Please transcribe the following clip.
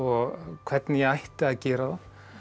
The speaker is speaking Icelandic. hvernig ég ætti að gera það